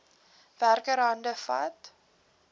werker hande vat